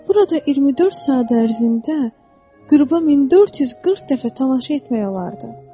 Burada 24 saat ərzində qüruba 1440 dəfə tamaşa etmək olardı.